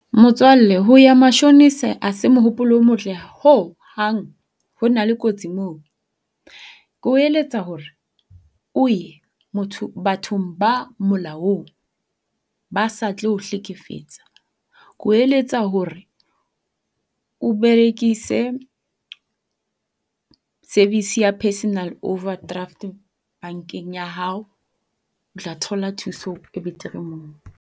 Motswalle ho ya mashonisa ha se mopolo o motle ho hang. ho na le kotsi mono. Ke o eletsa hore o ye bathong ba molaong ba sa tlo o hlekefetsa. Ke o eletsa hore o berekise service ya personal overdraft bankeng ya hao. O tla thola thuso e betere moo.